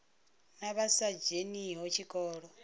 na vha sa dzheniho tshikolo